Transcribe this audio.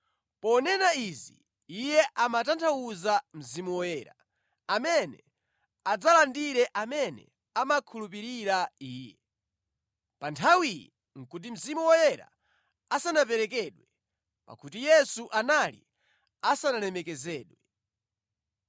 Ponena izi Iye amatanthauza Mzimu Woyera, amene adzalandire amene amakhulupirira Iye. Pa nthawiyi nʼkuti Mzimu Woyera asanaperekedwe, pakuti Yesu anali asanalemekezedwe.